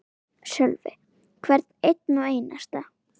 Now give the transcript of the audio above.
Sölvi: Hvern einn og einasta?